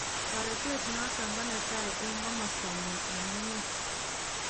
Toretet noton konetai eng komostanyin eng emet.